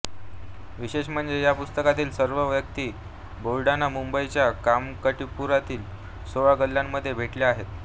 विशेष म्हणजे या पुस्तकातील सर्व व्यक्ती बेर्डेंना मुंबईच्या कामाठीपुरातील सोळा गल्ल्यांमध्ये भेटल्या आहेत